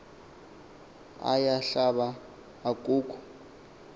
aya hlaba akukho